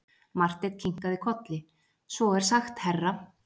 Marteinn kinkaði kolli:-Svo er sagt herra.